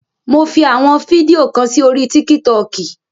Mo fi àwọn fídíò kan sí orí tíkì tọkì.